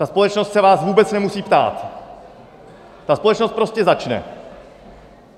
Ta společnost se vás vůbec nemusí ptát, ta společnost prostě začne.